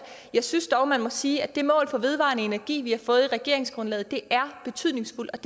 jeg synes dog man må sige at det mål for vedvarende energi vi har fået i regeringsgrundlaget er betydningsfuldt